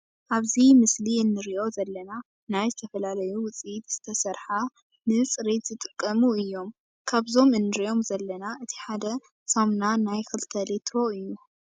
ኣብዚ ምስሊ እንሪኦ ዘለና ናይ ዝተፈላለዩ ውፅኢት ዝተሰርሓ ንፅሬት ዝጠቅሙ እም። ካብዞም እንሪኦም ዘለና እቲ ሓደ ሳሙና ናይ ክልተ ሌትሮ እዩ።